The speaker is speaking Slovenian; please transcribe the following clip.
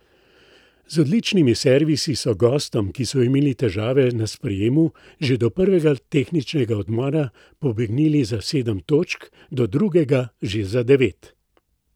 Z odličnimi servisi so gostom, ki so imeli težave na sprejemu, že do prvega tehničnega odmora pobegnili za sedem točk, do drugega že za devet.